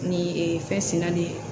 Ni ee fɛn sera de